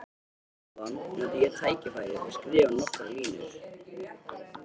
Á meðan nota ég tækifærið og skrifa nokkrar línur.